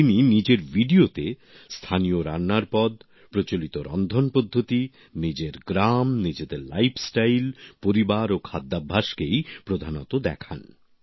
তিনি নিজের ভিডিওতে স্থানীয় রান্নার পদ প্রচলিত রন্ধন পদ্ধতি নিজের গ্রাম নিজেদের জীবনশৈলী পরিবার ও খাদ্যাভ্যাসকেই প্রধানত দেখান